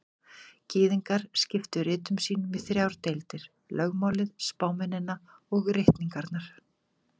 Gyðingar skiptu ritum sínum í þrjár deildir: Lögmálið, spámennina og ritningarnar.